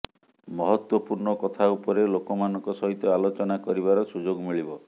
ମହତ୍ତ୍ବପୂର୍ଣ୍ଣ କଥା ଉପରେ ଲୋକମାନଙ୍କ ସହିତ ଆଲୋଚନା କରିବାର ସୁଯୋଗ ମିଳିବ